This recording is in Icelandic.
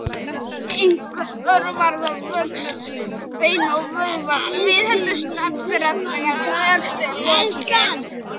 Einkum örvar það vöxt beina og vöðva og viðheldur stærð þeirra þegar vexti er lokið.